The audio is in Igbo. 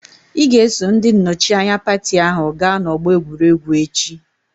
Ị ga-eso ndị nnọchianya pati ahụ gaa n'ọgbọ egwuregwu echi!